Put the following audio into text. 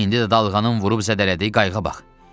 İndi də dalğanın vurub zədələdiyi qayığa bax.